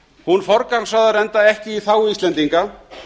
hún forgangsraðar enda ekki í þágu íslendinga